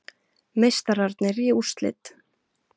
Meistararnir í úrslit